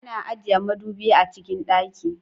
Ana ajiye madubi a cikin dakin.